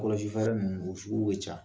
Kɔlɔsifɛɛrɛ ninnu o sugu ka ca